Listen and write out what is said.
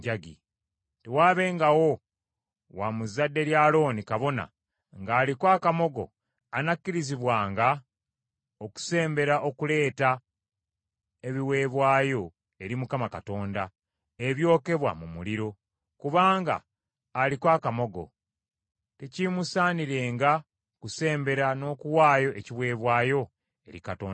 Tewaabengawo wa mu zadde lya Alooni kabona ng’aliko akamogo anakkirizibwanga okusembera okuleeta ebiweebwayo eri Mukama Katonda, ebyokebwa mu muliro. Kubanga aliko akamogo; tekiimusaanirenga kusembera n’okuwaayo ekiweebwayo eri Katonda we.